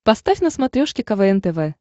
поставь на смотрешке квн тв